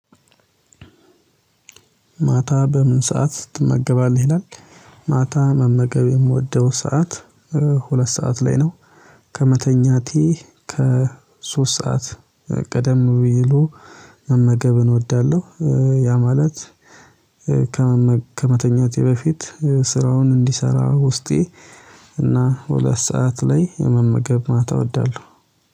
ማታ በምን ሰዓት ትመገባልህ? ይላል ማታ መመገብ የምወደው ሰዓት ሁለት ሰዓት ላይ ነው ከመተኛቴ ከሶስት ሰዓት ቀደም ቢሉ መመገብን እወዳለሁ ያ ማለት ከመተኛቴ በፊት ስራውን እንዲሰራ ውስጤ እና ሁለት ሰዓት ላይ የመመገብ ማታ እወዳለሁ።